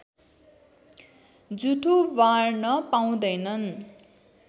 जुठो बार्न पाउँदैनन्